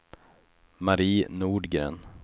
Marie Nordgren